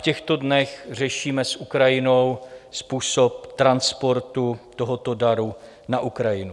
V těchto dnech řešíme s Ukrajinou způsob transportu tohoto daru na Ukrajinu.